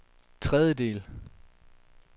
tredjedel